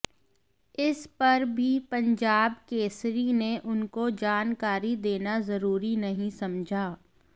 इस पर भी पंजाब केसरी ने उनको जानकारी देना जरूरी नहीं समझा